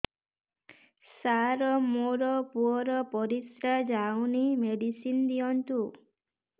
ସାର ମୋର ପୁଅର ପରିସ୍ରା ଯାଉନି ମେଡିସିନ ଦିଅନ୍ତୁ